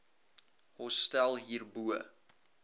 hostel hier bo